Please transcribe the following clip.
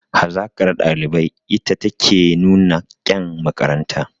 Hazaƙar ɗalibai ita take nuna kyan makaranta